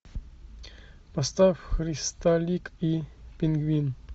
поставь христалик и пингвин